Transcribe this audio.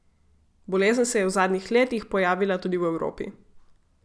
Bolezen se je v zadnjih letih pojavila tudi v Evropi.